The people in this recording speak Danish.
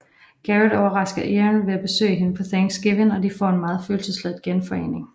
Garrett overrasker Erin ved at besøge hende på Thanksgiving og de får en meget følelsesladet genforening